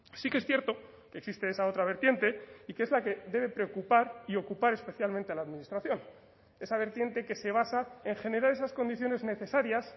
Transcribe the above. sí que es cierto que existe esa otra vertiente y que es la que debe preocupar y ocupar especialmente a la administración esa vertiente que se basa en generar esas condiciones necesarias